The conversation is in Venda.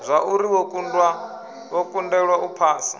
zwauri wo kundelwa u phasa